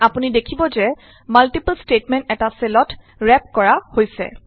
আপুনি দেখিব যে মাল্টিপল ষ্টেইটমেন্ট এটা চেলত ৰেপ কৰা হৈছে